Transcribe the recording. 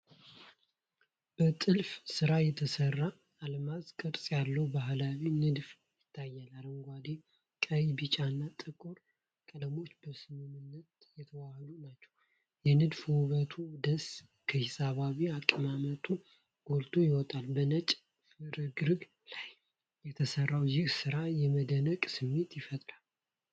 በጥልፍ ሥራ የተሰራ የአልማዝ ቅርጽ ያለው ባህላዊ ንድፍ ይታያል። አረንጓዴ፣ ቀይ፣ ቢጫና ጥቁር ቀለሞች በስምምነት የተዋሀዱ ናቸው። የንድፉ ውበትና ደስታ ከሂሳባዊ አቀማመጡ ጎልቶ ይወጣል። በነጭ ፍርግርግ ላይ የተሰራው ይህ ሥራ የመደነቅ ስሜት ይፈጥራል።